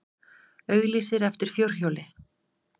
Auglýsir eftir fjórhjóli